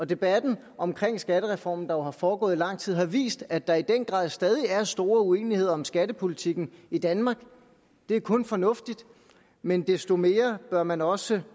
debatten om skattereformen der jo har foregået i lang tid har vist at der i den grad stadig er stor uenighed om skattepolitikken i danmark det er kun fornuftigt men desto mere bør man også